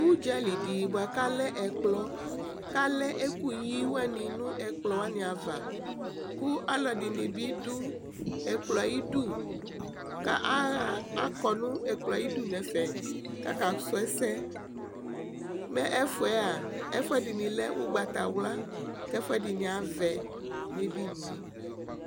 udzali dɩ bua kʊ alɛ ɛkplɔ, alɛ ɛkʊyi nʊ ɛkplɔwanɩ ava, kʊ alʊɛdɩnɩ bɩ dʊ ɛkplɔ yɛ iyidu, kʊ akɔ nʊ ɛkplɔ yɛ ayidu nɛfɛ, kʊ akasʊ ɛsɛ, ɛfʊ ɛdɩnɩ lɛ ugbatawla, kʊ ɛfʊɛdɩnɩ avɛ nʊ edini yɛ